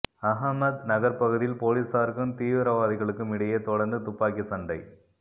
அஹமத் நகர் பகுதியில் பொலீசாருக்கும் தீவிரவாதிகளுக்கும் இடையே தொடர்ந்து துப்பாக்கி சண்டை